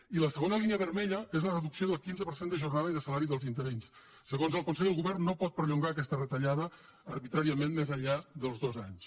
i la segona línia vermella és la reducció del quinze per cent de jornada i de salari dels interins segons el consell el govern no pot perllongar aquesta retallada arbitràriament més enllà dels dos anys